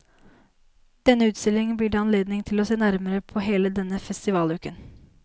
Denne utstillingen blir det anledning til å se nærmere på hele denne festivaluken.